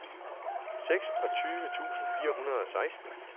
seksogtyve tusind fire hundrede og seksten